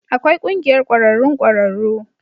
Akwai Ƙungiyar Ƙwararrun Ƙwararru